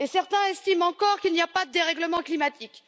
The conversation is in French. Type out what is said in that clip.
Et certains estiment encore qu'il n'y a pas de dérèglement climatique!